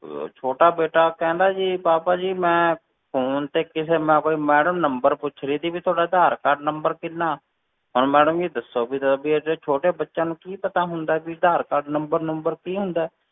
ਅਹ ਛੋਟਾ ਬੇਟਾ ਕਹਿੰਦਾ ਜੀ ਪਾਪਾ ਜੀ ਮੈਂ phone ਤੇ ਕਿਸੇ ਨਾਲ ਕੋਈ madam number ਪੁੱਛ ਰਹੀ ਸੀ ਵੀ ਤੁਹਾਡਾ ਆਧਾਰ ਕਾਰਡ number ਕਿੰਨਾ, ਹੁਣ madam ਜੀ ਦੱਸੋ ਵੀ ਵੀ ਇੰਨੇ ਛੋਟੇ ਬੱਚਿਆਂ ਨੂੰ ਕੀ ਪਤਾ ਹੁੰਦਾ ਵੀ ਆਧਾਰ ਕਾਰਡ number ਨੁੰਬਰ ਕੀ ਹੁੰਦਾ ਹੈ,